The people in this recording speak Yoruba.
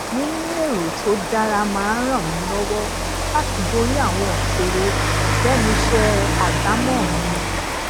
níní èrò tó dára maa n ran mi lówó láti borí àwọn ìṣòro lénu iṣé ajamo mi